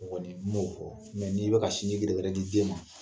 Gɔni m'o fɔ. n'i bɛ ka sinji gɛdɛgɛdɛ di den ma